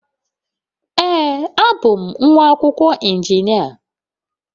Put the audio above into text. Ee, abụ m nwa akwụkwọ injinia.